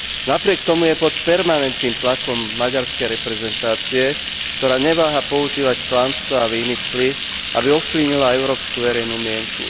Napriek tomu je pod permanentným tlakom maďarskej reprezentácie, ktorá neváha používať klamstvá a výmysly, aby ovplyvnila európsku verejnú mienku.